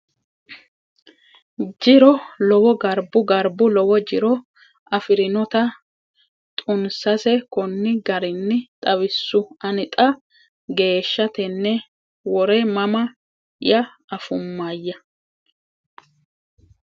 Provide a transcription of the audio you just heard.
jiro lowo Garbu Garbu lowo jiro afi rinotano xunsase konni garinni xawissu Ani xaa geeshsha tenne wore mama ya afummayya !